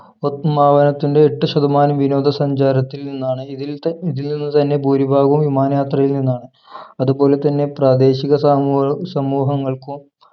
ഉദ്‌വമനത്തിന്റെ എട്ട് ശതമാനം വിനോദ സഞ്ചാരത്തിൽ നിന്നാണ് ഇതിൽ ത ഇതിൽ നിന്ന് തന്നെ ഭൂരിഭാഗവും വിമാനയാത്രയിൽ നിന്നാണ് അത് പോലെ തന്നെ പ്രാദേശിക സാമൂഹ സമൂഹങ്ങൾക്കും